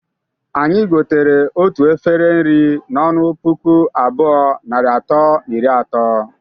Anyi gotere otu efere nri n'ọnụ puku abụọ, narị atọ na iri ato.